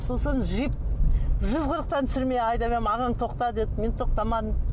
сосын джип жүз қырықтан түсірмей айдап едім ағаң тоқта деді мен тоқтамадым